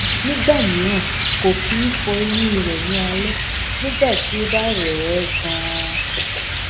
nígbà mìíràn kò kì í fọ eyín rẹ ní alẹ nigbà tí ó bá rẹ ẹ ganan